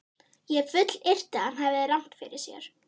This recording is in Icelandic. Ég fullyrti, að hann hefði rangt fyrir sér.